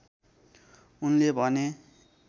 उनले भने